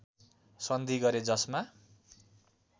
सन्धि गरे जसमा